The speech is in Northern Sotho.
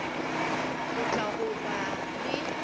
go tla go boga le